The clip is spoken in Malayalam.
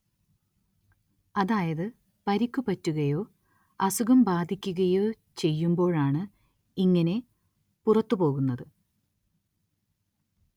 അതായത് പരിക്കു പറ്റുകയോ, അസുഖം ബാധിക്കുകയോ ചെയ്യുമ്പോഴാണ് ഇങ്ങനെ പുറത്തുപോകുന്നത്.